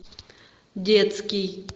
детский